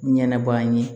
Ɲɛnɛ baa ye